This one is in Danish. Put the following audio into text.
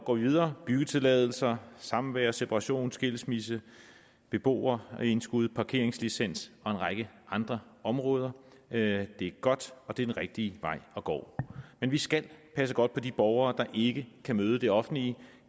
går videre byggetilladelser samvær separation skilsmisse beboerindskud parkeringslicens og en række andre områder det er godt og det er den rigtige vej at gå men vi skal passe godt på de borgere der ikke kan møde det offentlige